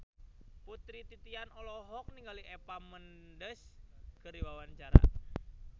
Putri Titian olohok ningali Eva Mendes keur diwawancara